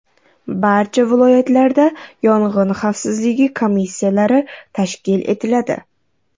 Barcha viloyatlarda yong‘in xavfsizligi komissiyalari tashkil etiladi.